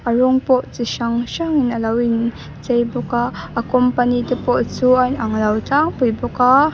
a rawng pawh chi hrang hrang in alo in chei bawk a a company te pawh chu a inang lo tlangpui bawk a.